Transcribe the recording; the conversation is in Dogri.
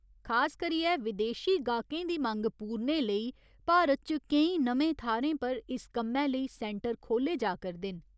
खास करियै विदेशी गाह्कें दी मंग पूरने लेई भारत च केईं नमें थाह्‌रें पर इस कम्मै लेई सैंटर खोह्‌ल्ले जा करदे न।